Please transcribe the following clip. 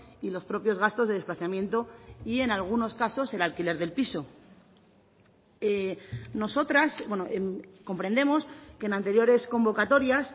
y los propios gastos de desplazamiento y en algunos casos el alquiler del piso nosotras comprendemos que en anteriores convocatorias